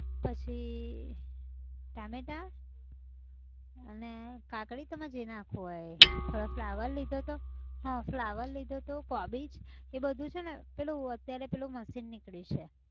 પછીઈ ટામેટાં, અને કાકડી તમારે જે નાખવું હોય એ, થોડો ફ્લાવર લીધો હતો, હા ફ્લાવર લીધો હતો કોબીજ એ બધું છે ને પેલું અત્યારે પેલું machine નીકળ્યું છે.